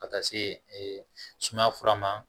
Ka taa se ee sumaya fura ma